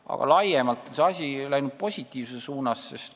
Aga laiemalt võttes on asi positiivses suunas läinud.